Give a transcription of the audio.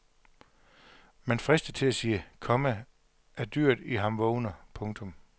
Man fristes til at sige, komma at dyret i ham vågner. punktum